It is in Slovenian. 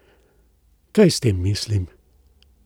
Kaj s tem mislim?